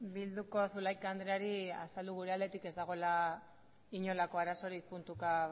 bilduko zulaika andreari azaldu gure aldetik ez dagoela inolako arazorik puntuka